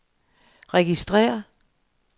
registrér